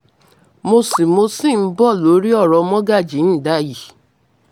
mo ṣì mo ṣì ń bọ̀ lórí ọ̀rọ̀ mọ́gàjíǹdà yìí